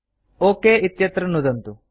okay इत्यत्र नुदन्तु